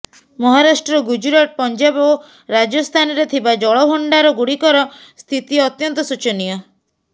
ମହାରାଷ୍ଟ୍ର ଗୁଜରାଟ ପଞ୍ଜାବ ଓ ରାଜସ୍ଥାନରେ ଥିବା ଜଳଭଣ୍ଡାର ଗୁଡିକର ସ୍ଥିତି ଅତ୍ୟନ୍ତ ଶୋଚନୀୟ